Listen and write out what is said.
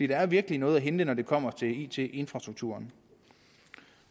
der er virkelig noget at hente når det kommer til it infrastrukturen